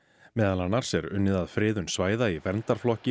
meðal annars er unnið að friðun svæða í verndarflokki